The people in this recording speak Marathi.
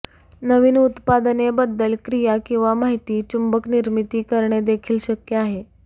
नवीन उत्पादने बद्दल क्रिया किंवा माहिती चुंबक निर्मिती करणे देखील शक्य आहे